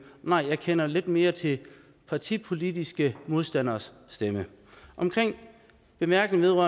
nej jeg kender lidt mere til partipolitiske modstanderes stemme omkring bemærkningerne